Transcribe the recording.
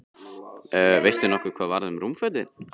Veistu nokkuð hvað varð um rúmfötin?